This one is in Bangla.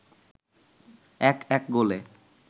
১-১ গোলে